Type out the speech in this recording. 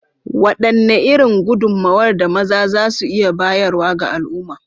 Wadanne irin gudummawar da maza za su iya bayarwa ga al’umma?